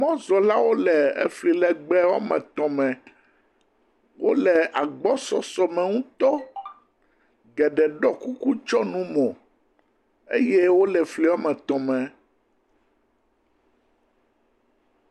Mɔzɔlawo le efli legbe wɔme etɔ̃ me. Wo le agbɔsɔsɔ me ŋutɔ. Geɖe ɖɔ kuku tsɔ nu mo eye wo le efli wɔme etɔ̃ me.